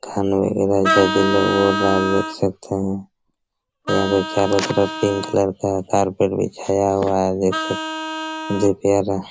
खाने में और दाल देख सकते है यहाँ चारों तरफ पिंक कलर का कारपेट बिछाया हुआ है देख सकते है देख सकते है।